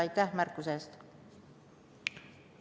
Aitäh märkuse eest!